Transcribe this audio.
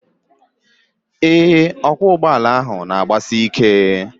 Ee, ọkwọụgbọala ahụ na-agbasi ike